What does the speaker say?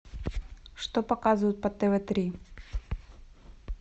что показывают по тв три